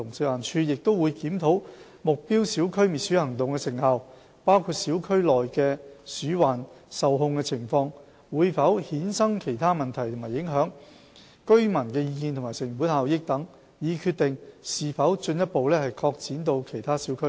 食環署亦會檢討目標小區滅鼠行動的成效，包括小區內的鼠患受控情況、會否衍生其他問題及影響，居民意見及成本效益等，以決定是否進一步擴展至其他小區。